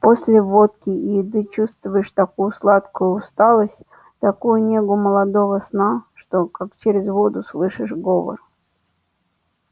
после водки и еды чувствуешь такую сладкую усталость такую негу молодого сна что как через воду слышишь говор